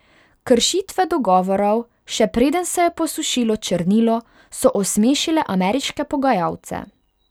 Kršitve dogovorov, še preden se je posušilo črnilo, so osmešile ameriške pogajalce.